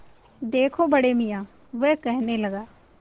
देखो बड़े मियाँ वह कहने लगा